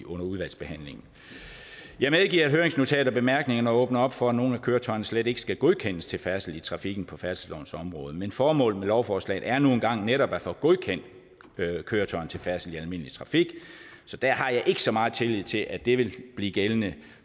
udvalgsbehandlingen jeg medgiver at høringsnotatet og bemærkningerne åbner op for at nogle af køretøjerne slet ikke skal godkendes til færdsel i trafikken på færdselslovens område men formålet med lovforslaget er nu engang netop at få godkendt køretøjer til færdsel i almindelig trafik så der har jeg ikke så meget tillid til at det vil blive gældende